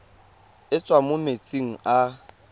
e tswang mo metsing a